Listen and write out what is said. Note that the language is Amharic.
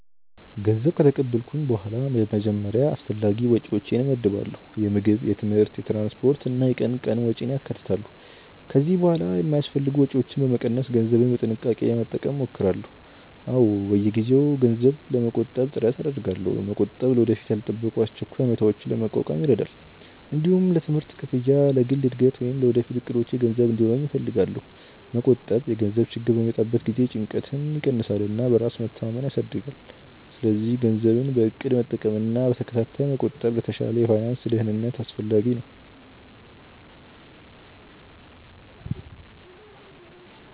ገንዘብ ከተቀበልኩ በኋላ በመጀመሪያ አስፈላጊ ወጪዎቼን እመድባለሁ። የምግብ፣ የትምህርት፣ የትራንስፖርት እና የቀን ቀን ወጪን ያካትታሉ። ከዚያ በኋላ የማይአስፈልጉ ወጪዎችን በመቀነስ ገንዘቤን በጥንቃቄ ለመጠቀም እሞክራለሁ። አዎ፣ በየጊዜው ገንዘብ ለመቆጠብ ጥረት አደርጋለሁ። መቆጠብ ለወደፊት ያልተጠበቁ አስቸኳይ ሁኔታዎችን ለመቋቋም ይረዳል። እንዲሁም ለትምህርት ክፍያ፣ ለግል እድገት ወይም ለወደፊት እቅዶቼ ገንዘብ እንዲኖረኝ እፈልጋለሁ። መቆጠብ የገንዘብ ችግር በሚመጣበት ጊዜ ጭንቀትን ይቀንሳል እና በራስ መተማመንን ያሳድጋል። ስለዚህ ገንዘብን በእቅድ መጠቀምና በተከታታይ መቆጠብ ለተሻለ የፋይናንስ ደህንነት አስፈላጊ ነው።